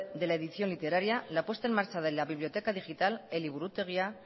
de la edición literaria la puesta en marcha de la biblioteca digital eliburutegia